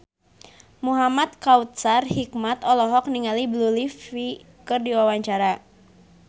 Muhamad Kautsar Hikmat olohok ningali Blue Ivy keur diwawancara